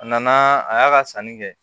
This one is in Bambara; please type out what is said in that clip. A nana a y'a ka sanni kɛ